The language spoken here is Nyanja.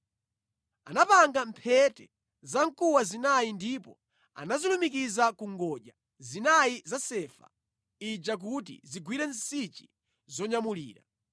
Anapanga mphete zamkuwa zinayi ndipo anazilumikiza ku ngodya zinayi za sefa ija kuti zigwire nsichi zonyamulira.